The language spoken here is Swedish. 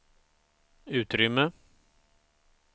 utrymme